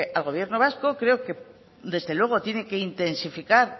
al gobierno vasco creo que desde luego tiene que intensificar